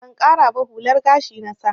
Ban ƙara ba, hular gashi na sa.